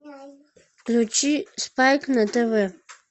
включи спайк на тв